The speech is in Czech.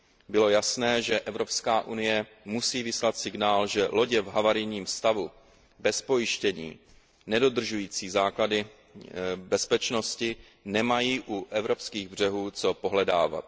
Bylo jasné, že Evropská unie musí vyslat signál, že lodě v havarijním stavu, bez pojištění, nedodržující základní bezpečnostní pravidla nemají u evropských břehů co pohledávat.